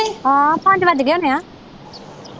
ਹਾਂ ਪੰਜ ਵੱਜ ਗਏ ਹੋਣੇ ਆ।